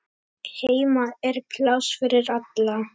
Heima er pláss fyrir alla.